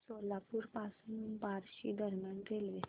सोलापूर पासून बार्शी दरम्यान रेल्वे